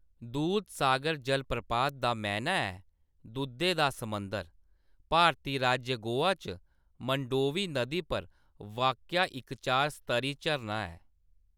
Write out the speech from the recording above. दूधसागर जलप्रपात दा मैह्‌‌‌ना ऐ "दुद्धै दा समुंदर" भारती राज्य गोवा च मंडोवी नदी पर वाक्या इक चार-स्तरी झरना ऐ।